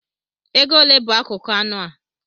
Ego ole bụ akụkụ anụ a